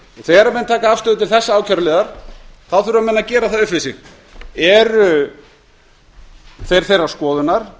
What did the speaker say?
þegar menn taka afstöðu til þessa ákæruliðar þá þurfa menn að gera það við sig eru þeir þeirrar skoðunar